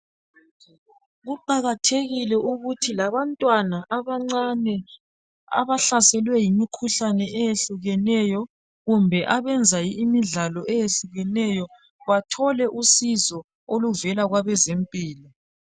Kuqakathekile ukuthi labantwana abancane abahlaselwe yimikhuhlane eyehlukeneyo kumbe abenza imidlalo eyehlukeneyo bathole usizo oluvela kwabezempilo.